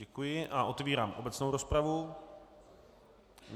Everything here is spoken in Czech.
Děkuji a otevírám obecnou rozpravu.